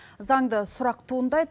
заңды сұрақ туындайды